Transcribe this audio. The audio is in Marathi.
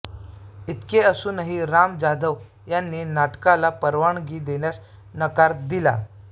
इतके असूनही राम जाधव यांनी नाटकाला परवानगी देण्यास नकार दिला